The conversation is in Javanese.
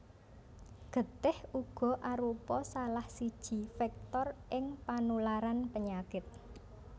Getih uga arupa salah siji vektor ing panularan penyakit